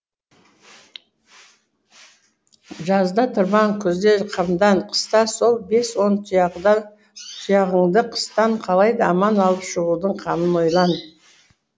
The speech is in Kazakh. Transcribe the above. жазда тырбан күзде қамдан қыста сол бес он тұяғыңды қыстан қалайда аман алып шығудың қамын ойлан